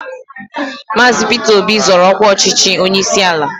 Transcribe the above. Maazi Peter Obi zoro ọkwa ọchịchị onyeisi ala